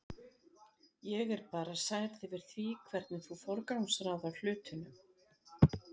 Ég er bara særð yfir því hvernig þú forgangsraðar hlutunum.